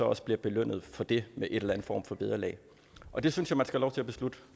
også belønnet for det med en eller anden form for vederlag og det synes jeg man skal have lov til at beslutte